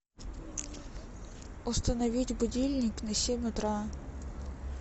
установить будильник на семь утра